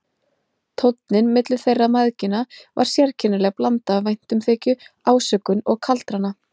Tónninn milli þeirra mæðgina var sérkennileg blanda af væntumþykju, ásökun og kaldrana.